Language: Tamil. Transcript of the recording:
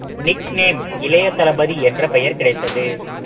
nick name இளைய தளபதி என்ற பெயர் கிடைத்தது